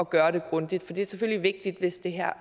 gøre det grundigt for det er selvfølgelig vigtigt hvis det her